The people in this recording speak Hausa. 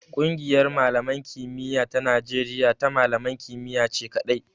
Ƙungiyar malaman kimiya ta Najeriya ta malaman kimiyya ce kaɗai.